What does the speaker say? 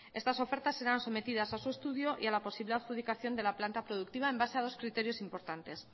estas ofertas serán sometidas a su estudio y a la posible adjudicación de la planta productiva en base a dos criterios importantes